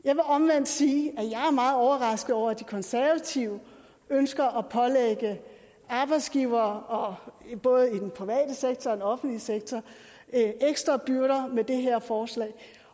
jeg vil omvendt sige at jeg er meget overrasket over at de konservative ønsker at pålægge arbejdsgivere både i den private sektor og i den offentlige sektor ekstra byrder med det her forslag